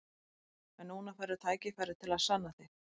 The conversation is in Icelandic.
En núna færðu tækifæri til að sanna þig.